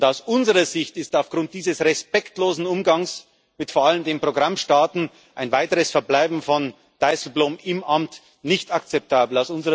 Aus unserer Sicht ist aufgrund dieses respektlosen Umgangs vor allem mit den Programmstaaten ein weiteres Verbleiben von Dijsselbloem im Amt nicht akzeptabel.